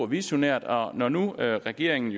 visionært og når nu regeringen